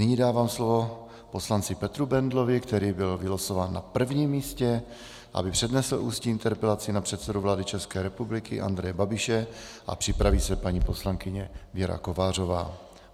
Nyní dávám slovo poslanci Petru Bendlovi, který byl vylosován na prvním místě, aby přednesl ústní interpelaci na předsedu vlády České republiky Andreje Babiše, a připraví se paní poslankyně Věra Kovářová.